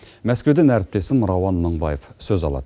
мәскеуден әріптесім рауан мыңбаев сөз алады